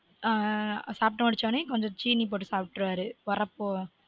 சாப்டு முடிச்ச உடனே கொஞ்சம் சீனி போட்டு சாப்ற்றுவாரு ஒரப்பொ